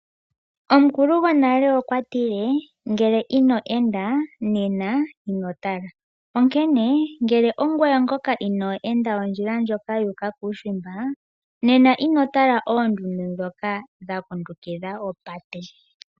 Omukulu gwonale okwa tile ngele ino enda, nena inotala. Ihe ngele ongoye ngoka ino enda ondjila ndjoka yuuka kuushimba, nena inotala oondundu dhoka dha kundukidha opate.